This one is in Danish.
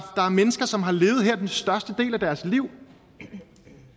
er mennesker som har levet her størstedelen af deres liv det